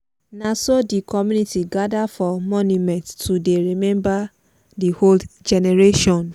na so di community gather for monument to dey remember the old generation.